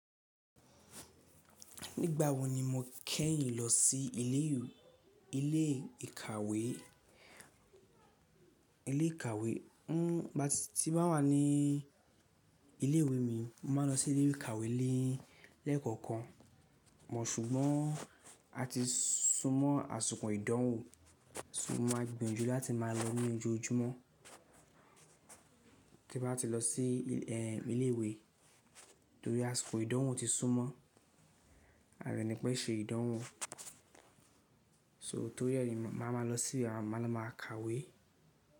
Nígbà wo ni mo kẹ́yìn lọ sí ilé ìkàwé? Nígbà tí máa wà ní ilé ìwé mi, mo màá nlọ sí ilé ìkàwé lẹ́ẹ̀kọ̀kan. Ṣùgbọ́n á ti súnmọ́ àsiko ìdánwò, so maa gbiyanju láti máa lọ ní ojoojúmọ́. Tí mbá ti lọ sí ilé ìwé torí asiko ìdánwò ti súnmọ́ aa de nipé ṣe ìdánwò. So torí ẹ̀ ni, màá ma lọ sí, màá lo ma ka ìwé.